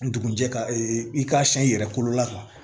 Ndugun jɛ i k'a siɲɛ i yɛrɛ kolo la